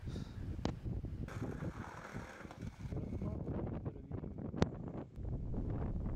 ярославу викторовичу